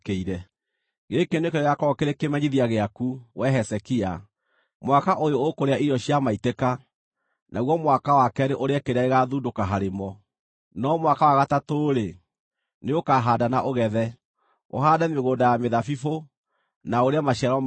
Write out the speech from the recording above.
“Gĩkĩ nĩkĩo gĩgaakorwo kĩrĩ kĩmenyithia gĩaku, wee Hezekia: “Mwaka ũyũ ũkũrĩa irio cia maitĩka, naguo mwaka wa keerĩ ũrĩe kĩrĩa gĩgaathundũka harĩ mo. No mwaka wa gatatũ-rĩ, nĩũkahaanda na ũgethe, ũhaande mĩgũnda ya mĩthabibũ, na ũrĩe maciaro mayo.